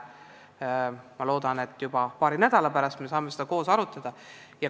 Ma loodan, et juba paari nädala pärast saame seda koos arutada.